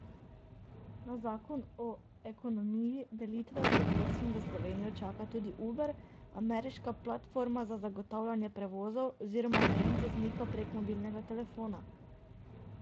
Na zakon o ekonomiji delitve pred vstopom v Slovenijo čaka tudi Uber, ameriška platforma za zagotavljanje prevozov oziroma najem voznika prek mobilnega telefona.